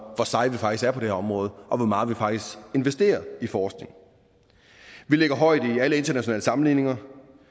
hvor seje vi faktisk er på det her område og hvor meget vi faktisk investerer i forskning vi ligger højt i alle internationale sammenligninger